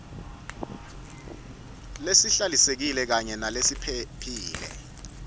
lehlalisekile kanye nalephephile